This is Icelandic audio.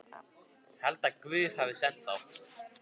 Held að Guð hafi sent þá.